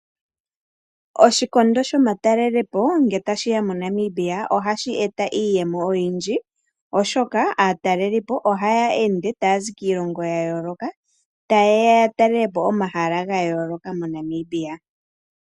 Oshikondo shomatalelepo ngele tashi ya moNamibia, ohashi e ta iiyemo oyindji oshoka aatalelipo ohaya ende taya zi kiilongo yayooloka, taye ya yatalele po omahala gayooloka moNamibia.